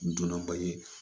Donna ba ye